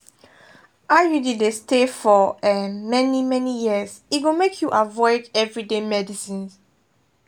iud dey stay for um many-many years e go make you avoid everyday medicines.